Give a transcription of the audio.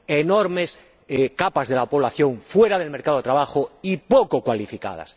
enormes capas de la población fuera del mercado de trabajo y poco cualificadas.